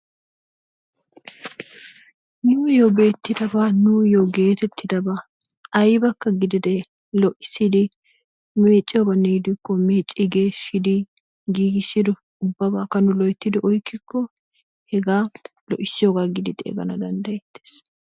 Nuyoo beettidabaa nuyoo getettidabaa aybbaka gididee meecciyoobanne gidikko meeccidi giigisidi ubbabaaka nu loytti oyqqiko hegaa lo"isiyoogaa giidi xeegganawu danddayettees.